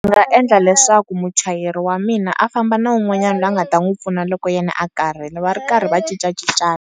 Ndzi nga endla leswaku muchayeri wa mina a famba na wun'wanyana loyi a nga ta n'wi pfuna loko yena a karhele va ri karhi va cincacincana.